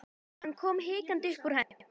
Hann kom hikandi upp úr henni.